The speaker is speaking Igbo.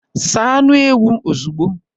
Saa anụ ewu ozugbo!